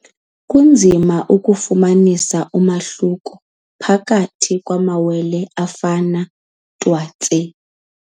Kunzima ukufumanisa umahluko phakathi kwamawele afana twatse.